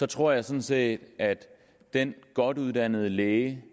tror jeg sådan set at den godt uddannede læge